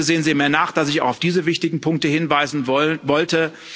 Bitte sehen Sie mir nach, dass ich auf diese wichtigen Punkte hinweisen wollte.